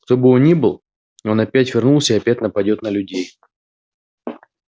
кто бы он ни был он опять вернулся и опять нападаёт на людей